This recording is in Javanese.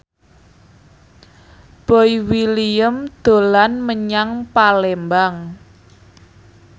Boy William dolan menyang Palembang